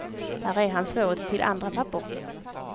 Här är hans råd till andra pappor.